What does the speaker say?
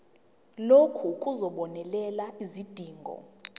lokhu kuzobonelela izidingo